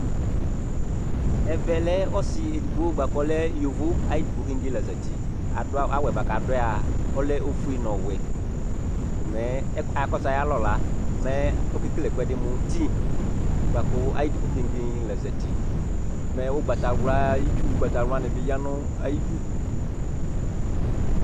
Ɛvɛ lɛ ɔsɩ edigbo bʋa kʋ ɔlɛ yovo, ayɩdigbo keŋge la zati Adʋ awʋ, awʋ yɛ bʋa kʋ adʋ a, ɔlɛ ofue nʋ ɔwɛ ko mɛ akɔsʋ ayʋ alɔ la mɛ ɔkekele ɛkʋɛdɩ mʋ ti bʋa kʋ ayɩdigbo keŋge la zati, mɛ ʋgbatawla, itsu ʋgbatawlanɩ bɩ ya nʋ ayidu